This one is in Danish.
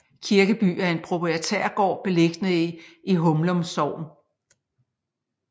Kirkeby er en proprietærgård beliggende i Humlum Sogn